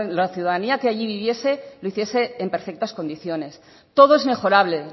la ciudadanía que allí viviese lo hiciese en perfectas condiciones todo es mejorable